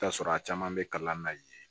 I bi t'a sɔrɔ a caman be kalan na yen